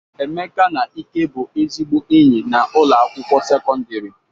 Emeka na Ike bụ ezigbo enyi na ụlọ akwụkwọ sekọndrị.